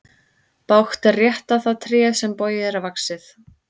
Bágt er rétta það tré sem bogið er vaxið.